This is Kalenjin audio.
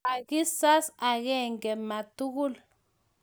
ka kisas angenge ma tugul